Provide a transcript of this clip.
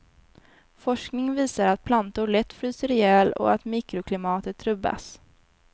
Forskning visar att plantor lätt fryser ihjäl, och att mikroklimatet rubbas.